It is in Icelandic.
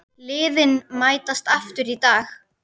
Liðin mætast aftur í dag.